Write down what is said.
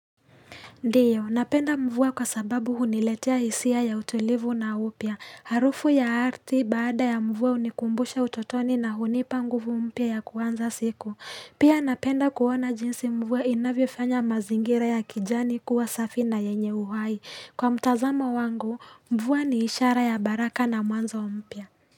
Ndiyo, napenda mvua kwa sababu huniletia hisia ya utulivu na upya. Harufu ya ardhi baada ya mvua hunikumbusha utotoni na hunipa nguvu mpya ya kuwanza siku. Pia napenda kuona jinsi mvua inavifanya mazingira ya kijani kuwa safi na yenye uhai. Kwa mtazamo wangu, mvua ni ishara ya baraka na mwanzo mpya.